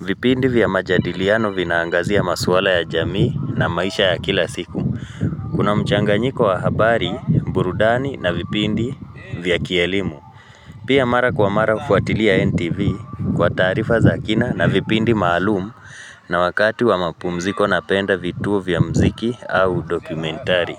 vipindi vya majadiliano vinaangazia maswala ya jamii na maisha ya kila siku Kuna mchanganyiko wa habari, burudani na vipindi vya kielimu Pia mara kwa mara hufuatilia NTV kwa taarifa za kina na vipindi maalumu na wakati wa mapumziko napenda vituo vya muziki au dokumentari.